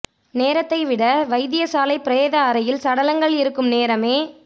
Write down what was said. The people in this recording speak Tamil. நேரத்தை விட வைத்தியசாலை பிரேத அறையில் சடலங்கள் இருக்கும் நேரமே